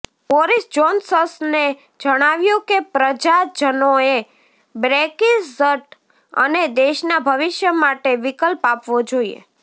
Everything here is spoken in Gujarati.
બોરિસ જોન્સસને જણાવ્યું કે પ્રજાજનોએ બ્રેક્ઝિટ અને દેશના ભવિષ્ય માટે વિકલ્પ આપવો જોઇએ